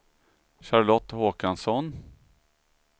Charlotte Håkansson